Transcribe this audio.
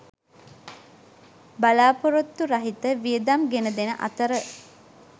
බලා‍පොරොත්තු රහිත වියදම් ගෙනදෙන අතර